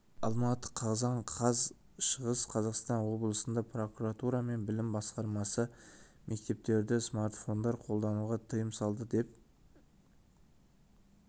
алматы қазан қаз шығыс қазақстан облысында прокуратура мен білім басқармасы мектептерде смартфондар қолдануға тыйым салды деп